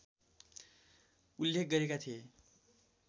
उल्लेख गरेका थिए